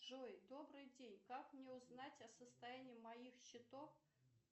джой добрый день как мне узнать о состоянии моих счетов